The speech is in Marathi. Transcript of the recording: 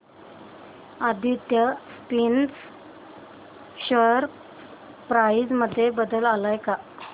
आदित्य स्पिनर्स शेअर प्राइस मध्ये बदल आलाय का